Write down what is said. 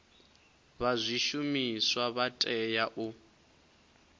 vha zwishumiswa vha tea u